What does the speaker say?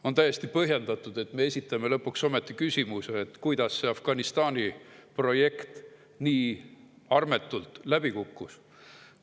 On täiesti põhjendatud, et me esitame lõpuks ometi küsimuse, kuidas see Afganistani projekt nii armetult läbi kukkus.